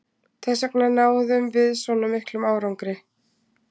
Þessvegna náðum við svona miklum árangri.